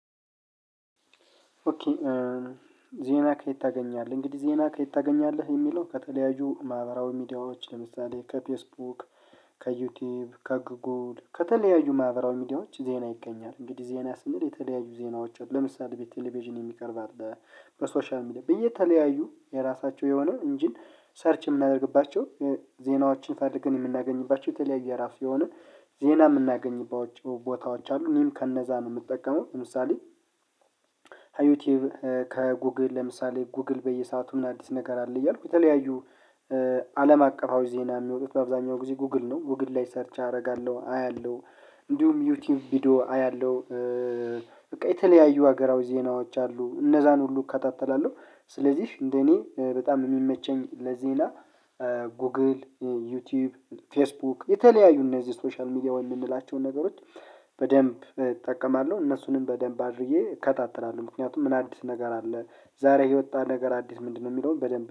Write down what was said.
ኦኬ ዜና ከየት ታገኛለህ? እንግዲህ ዜና ከየት ታገኛለህ የሚለው ከተለያዩ ማህበራዊ ሚዲያዎች ለምሳሌ ከፌስቡክ ከዩቲዩብ ከጉጉል ከተለያዩ ማህበራዊ ሚዲያዎች ዜና ይገኛል። እንግዲህ ዜና ስንል የተለያዩ ዜናዎች ለምሳሌ ቤት ቴሌቪዥን የሚቀርብ አለ። በሶሻል ሚዲያ በየተለያዩ ተለያዩ የራሳችው የሆነው እንጂን ሰርች የምናደርግባቸው ዜናዎችን ፈልገን የምናገኝባቸው የተለያዩ የራሱ የሆነ ዜና የምናገኝባቸው ቦታዎች አሉ እኔም ከነዛ ነው የምጠቀመው። ለምሳሌ ዩቲዩብ ከጉግል ለምሳሌ ጉግል በየሰአቱ ምን አዲስ ነገር አለ እያልኩ የተለያዩ አለም አቀፋዊ ዜና የሚወጡት በአብዛኛው ጊዜ ጉግል ነው ጉግል ላይ ሰርች አረጋለሁ አያለሁ እንዲሁም ዩቲዩብ ቪዲዮ አያለሁ። በቃ የተለያዩ ሀገራዊ ዜናዎች አሉ እነዛን ሁሉ እከታተላለሁ ስለዚህ እንደኔ በጣም የሚመቸኝ ለዜና ጎግል ዩቲዩብ ፌስቡክ የተለያዩ እነዚህ ሶሻል ሚዲያ ወይም የምንላቸውን ነገሮች በደንብ እጠቀማለሁ እነሱንም በደንብ አድርጌ እከታተላለው ምክንያቱም ምን አዲስ ነገር አለ ዛሬ የወጣ ነገር አዲስ ምንድነው የሚለውን በደንብ